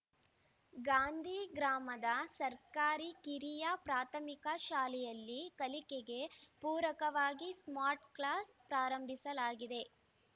ಗಾಂಧಿ ಗ್ರಾಮದ ಸರ್ಕಾರಿ ಕಿರಿಯ ಪ್ರಾಥಮಿಕ ಶಾಲೆಯಲ್ಲಿ ಕಲಿಕೆಗೆ ಪೂರಕವಾಗಿ ಸ್ಮಾರ್ಟ್‌ ಕ್ಲಾಸ್‌ ಪ್ರಾರಂಭಿಸಲಾಗಿದೆ